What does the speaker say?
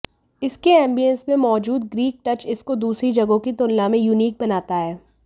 इसके ऐंबियंस में मौजूद ग्रीक टच इसको दूसरी जगहों की तुलना में यूनीक बनाता है